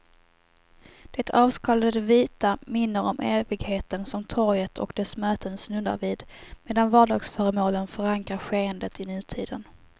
Det avskalade vita minner om evigheten som torget och dess möten snuddar vid, medan vardagsföremålen förankrar skeendet i nutiden.